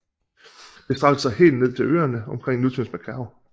Det strakte sig helt med til øerne omkring nutidens Macao